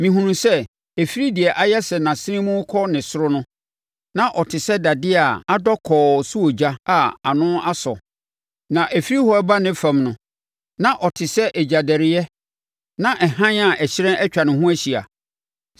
Mehunuu sɛ, ɛfiri deɛ ayɛ sɛ nʼasene mu rekɔ ne soro no, na ɔte sɛ dadeɛ a adɔ kɔɔ sɛ ogya a ano asɔ, na ɛfiri hɔ reba ne fam no, na ɔte sɛ egyadɛreɛ; na hann a ɛhyerɛn atwa ne ho ahyia.